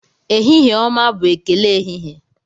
Ehihie ọma bụ ekele ehihie.